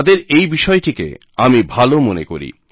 তাদের এই বিষয়টিকে আমি ভালো মনে করি